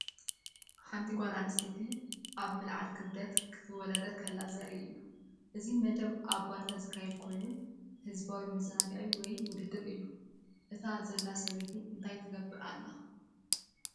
ሓንቲ ጓል ኣንስተይቲ ኣብ ምልዓል ክብደት ክትወዳደር ከላ ዘርኢ እዩ። እዚ መደብ ኣብ ባይታ ዝካየድ ኮይኑ ህዝባዊ መዘናግዒ ወይ ውድድር እዩ። እታ ዘላ ሰበይቲ እንታይ ትገብር ኣላ?